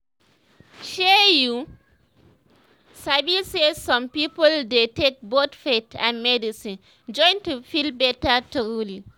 shey you sabi saysome people dey take both faith and medicine join to feel better truly